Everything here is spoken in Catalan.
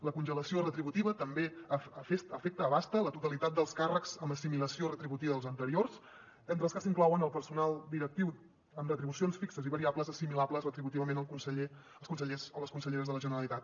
la congelació retributiva també afecta la totalitat dels càrrecs amb assimilació retributiva dels anteriors entre els que s’inclouen el personal directiu amb retribucions fixes i variables assimilables retributivament als consellers o a les conselleres de la generalitat